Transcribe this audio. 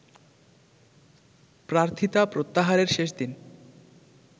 প্রার্থিতা প্রত্যাহারের শেষ দিন